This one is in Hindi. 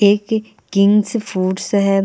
एक किंग्स फूडस है।